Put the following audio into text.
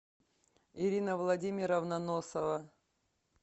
ирина владимировна носова